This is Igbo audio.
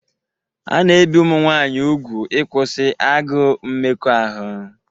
A na-ebi ụmụ nwanyị úgwù ịkwụsị agụụ mmekọahụ.